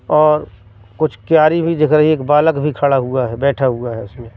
और कुछ क्यारी भी जगह एक बालक भी खड़ा हुआ है बैठा हुआ है उसमें।